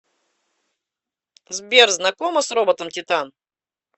сбер знакома с роботом титан